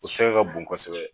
O sɛkɛ ka bon kosɛbɛ